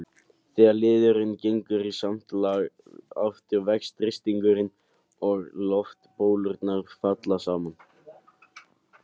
Þegar liðurinn gengur í samt lag aftur vex þrýstingurinn og loftbólurnar falla saman.